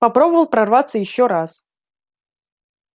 попробовал прорваться ещё раз